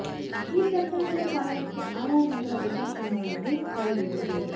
ಈ ಪ್ರಕರಣದ ಕಾರಣಕ್ಕೆ ಆರ್ ಆರ್ ನಗರ ಉಪಚುನಾವಣೆಗೆ ತಡೆ ಬಿದ್ದಿದೆ